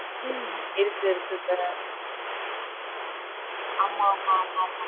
உம் இருக்கு இருக்கு sir ஆமா, ஆமா, ஆமா, ஆமா.